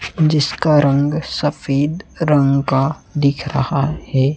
जिसका रंग सफेद रंग का दिख रहा है।